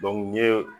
n ye